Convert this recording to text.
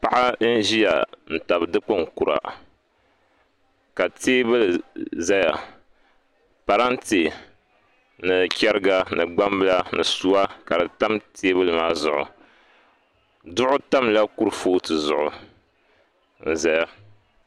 Paɣa n ʒiya n tabi dikpuni kura ka teebuli ʒɛya parantɛ ni chɛriga ni gbambila ni suwa ka di tam teebuli maa zuɣu duɣu tamla kurifooti zuɣu n ʒɛya